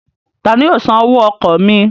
Tani yóò san owó ọkọ̀ mi?